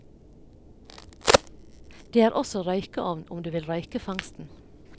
Det er også røykeovn om du vil røyke fangsten.